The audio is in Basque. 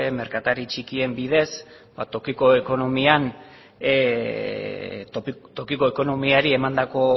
merkatari txikien bidez ba tokiko ekonomian tokiko ekonomiari emandako